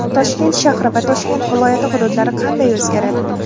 Toshkent shahri va Toshkent viloyati hududlari qanday o‘zgaradi?.